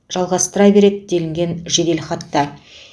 жалғастыра береді делінген жеделхатта